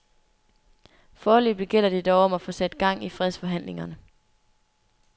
Foreløbig gælder det dog om at få sat gang i fredsforhandlingerne.